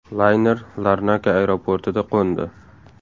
Layner Larnaka aeroportida qo‘ndi.